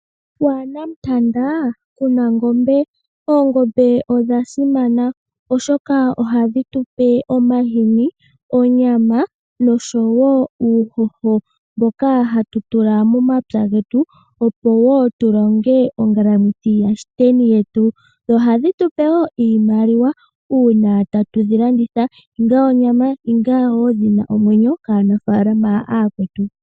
Kuna omutanda kuna ongombe. Oongombe odha simana oshoka ohadhi tupe omahini, onyama nosho wo uuhoho mboka hatu tula momapya getu opo wo tulonge ongalamwithi yashiteni yetu. Dho ohadhi tupe wo iimaliwa, uuna tatudhi landitha inga onyama, inga wo dhina omwenyo kaanafaalama aakwetu.